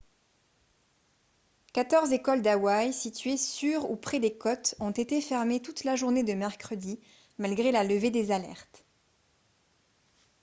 quatorze écoles d'hawaii situées sur ou près des côtes ont été fermées toute la journée de mercredi malgré la levée des alertes